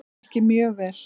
Ekki mjög vel.